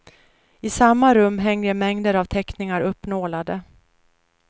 I samma rum hänger mängder av teckningar uppnålade.